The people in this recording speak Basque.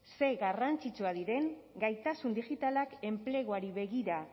ze garrantzitsuak diren gaitasun digitalak enpleguari begira